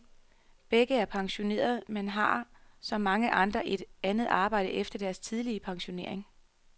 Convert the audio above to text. Begge er pensionerede, men har, som mange andre, et andet arbejde efter deres tidlige pensionering.